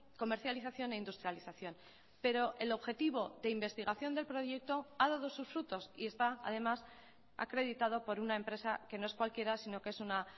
comercialización e industrialización pero el objetivo de investigación del proyecto ha dado sus frutos y está además acreditado por una empresa que no es cualquiera sino que es una